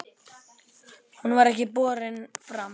Hún var ekki borin fram.